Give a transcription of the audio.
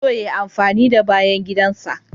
Yana son ya amfani da bayan gidan ka.